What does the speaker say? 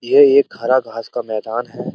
ये एक हरा घास का मैदान है।